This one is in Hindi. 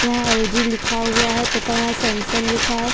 यहाँ एल जी लिखा हुआ है तथा यहाँ सैमसंग लिखा हैं।